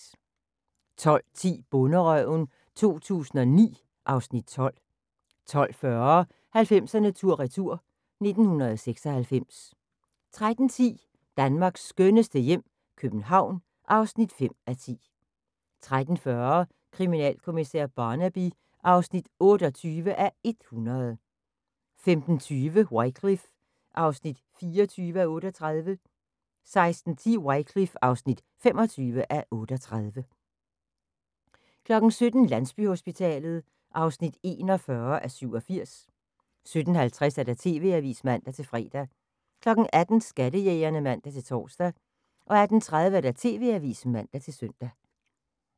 12:10: Bonderøven 2009 (Afs. 12) 12:40: 90'erne tur retur: 1996 13:10: Danmarks skønneste hjem - København (5:10) 13:40: Kriminalkommissær Barnaby (28:100) 15:20: Wycliffe (24:38) 16:10: Wycliffe (25:38) 17:00: Landsbyhospitalet (41:87) 17:50: TV-avisen (man-fre) 18:00: Skattejægerne (man-tor) 18:30: TV-avisen (man-søn)